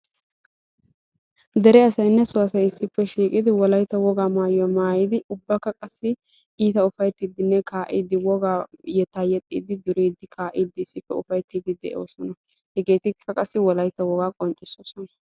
Dere asayinne so asay issippe shiiqidi Wolaytta wogaa maayuwa maayyidi ubbakka qassi iita ufayittiddi duriiddi kaa'iiddi issippe de'oosona; hegeekka wolaytta wogaa qonccissoosona.